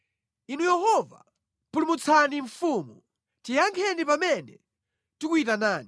Inu Yehova, pulumutsani mfumu! Tiyankheni pamene tikuyitanani!